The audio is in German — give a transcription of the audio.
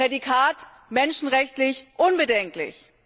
Prädikat menschenrechtlich unbedenklich.